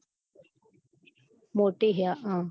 મોટી હૈ હ